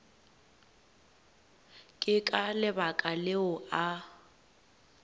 ke ka lebaka leo a